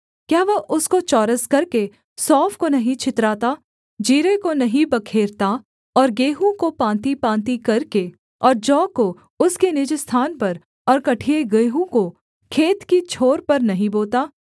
क्या वह उसको चौरस करके सौंफ को नहीं छितराता जीरे को नहीं बखेरता और गेहूँ को पाँतिपाँति करके और जौ को उसके निज स्थान पर और कठिया गेहूँ को खेत की छोर पर नहीं बोता